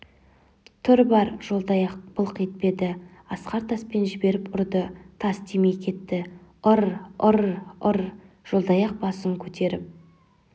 тұр бар жолдаяқ былқ етпеді асқар таспен жіберіп ұрды тас тимей кетті ыр-ыр-р жолдаяқ басын көтеріп